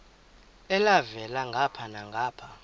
elhavela ngapha nangapha